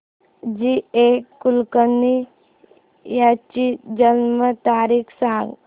जी A Kulkarni यांची जन्म तारीख सांग